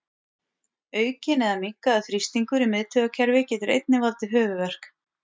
Aukinn eða minnkaður þrýstingur í miðtaugakerfi getur einnig valdið höfuðverk.